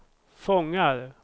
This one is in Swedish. fångar